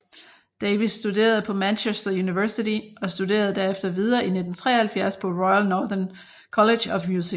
Davies studerede på Manchester University og studerede derefter videre i 1973 på Royal Northern College of Music